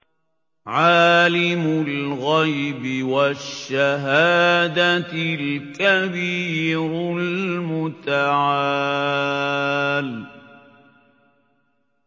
عَالِمُ الْغَيْبِ وَالشَّهَادَةِ الْكَبِيرُ الْمُتَعَالِ